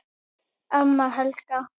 Amma Helga.